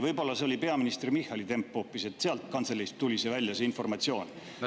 Võib-olla see oli peaminister Michali temp hoopis ja sellest kantseleist tuli välja see informatsioon.